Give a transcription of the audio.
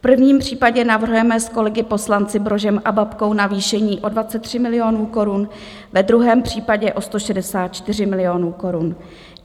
V prvním případě navrhujeme s kolegy poslanci Brožem a Babkou navýšení o 23 milionů korun, ve druhém případě o 164 milionů korun.